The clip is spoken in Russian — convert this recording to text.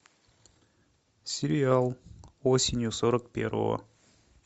сериал осенью сорок первого